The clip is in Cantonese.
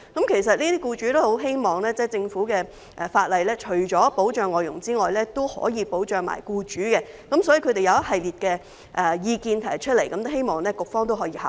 其實，這些僱主均希望政府除了立法保障外傭外，亦可以保障僱主，所以他們提出一系列意見，希望局方可以考慮。